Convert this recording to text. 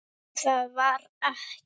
En það varð ekki.